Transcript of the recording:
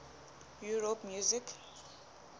europe music